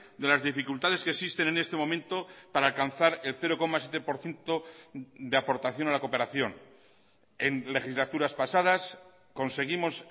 de las dificultades que existen en este momento para alcanzar el cero coma siete por ciento de aportación a la cooperación en legislaturas pasadas conseguimos